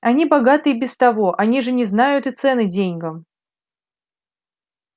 они богаты и без того они же не знают и цены деньгам